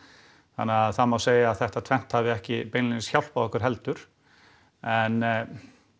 þannig að það má segja að þetta tvennt hafi ekki beinlínis hjálpað okkur heldur en